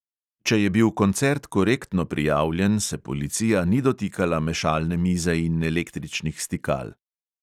Če je bil koncert korektno prijavljen, se policija ni dotikala mešalne mize in električnih stikal.